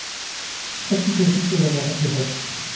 sytten tusen fire hundre og femtiseks